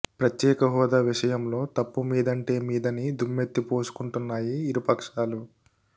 ప్రత్యేక హోదా విషయంలో తప్పు మీదంటే మీదని దుమ్మెత్తి పోసుకుంటున్నాయి ఇరు పక్షాలు